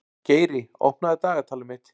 Geiri, opnaðu dagatalið mitt.